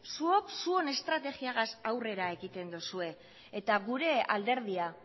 zuok zuen estrategiagaz aurrera egiten duzue eta gure alderdia